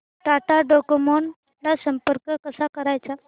Tata Docomo ला संपर्क कसा करायचा